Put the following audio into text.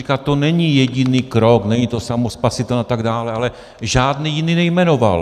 Říká - to není jediný krok, není to samospasitelné a tak dále, ale žádný jiný nejmenoval.